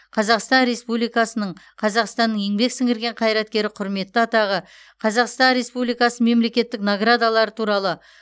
қазақстан республикасының қазақстанның еңбек сіңірген қайраткері құрметті атағы қазақстан республикасының мемлекеттік наградалары туралы